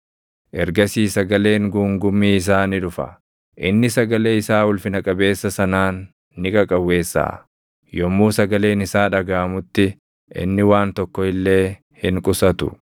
Ergasii sagaleen guungummii isaa ni dhufa; inni sagalee isaa ulfina qabeessa sanaan ni qaqawweessaʼa. Yommuu sagaleen isaa dhagaʼamutti, inni waan tokko illee hin qusatu.